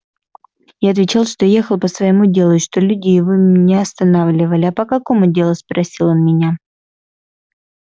я отвечал что ехал по своему делу и что люди его меня остановили а по какому делу спросил он меня